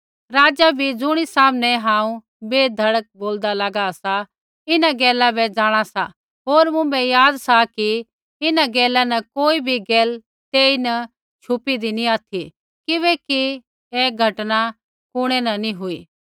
राज़ा भी ज़ुणी सामनै हांऊँ बै धड़क बोलदा लागा सा इन्हां गैला बै जाँणा सा होर मुँभै याद सा कि इन्हां गैला न कोई भी गैल तेईन छुपीदी नी ऑथि किबैकि ऐ घटना ता कुणै न नी हुई